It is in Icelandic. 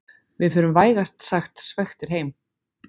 Við förum vægast sagt svekktir heim